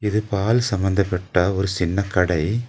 இது பால் சம்மந்தப்பட்ட ஒரு சின்ன கடை.